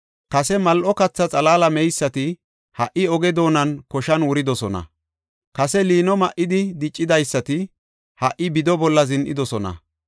Kase mal7o katha xalaala meysati ha77i oge doonan koshan wuridosona. Kase liino ma7idi diccidaysati ha77i bido bolla zin7idosona.